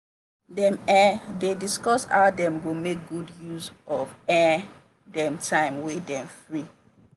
dem um dey discuss how dem go make good use of um dem time wey dem free.